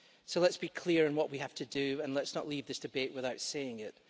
So let's be clear in what we have to do and let's not leave this debate without saying it.